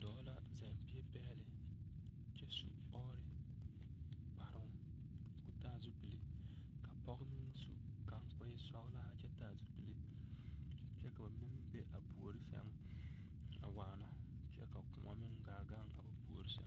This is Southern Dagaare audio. Dɔɔ la zɛŋ bie pɛgle kyɛ su ɔɔre kparoŋ ka o taa zupile ka pɔge meŋ su kaŋ ka o e sɔglaa kyɛ taa zupile kyɛ ka ba mine meŋ be a puori sɛŋ a waana kyɛ ka koɔ meŋ gaa gaŋ a ba puori sɛŋ.